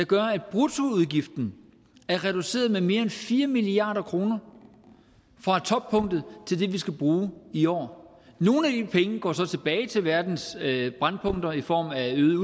gør at bruttoudgiften er reduceret med mere end fire milliard kroner fra toppunktet til det vi skal bruge i år nogle af de penge går så tilbage til verdens brændpunkter i form af øget